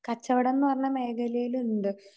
കച്ചവടംന്ന് പറഞ്ഞ മേഖലയിലുണ്ട്.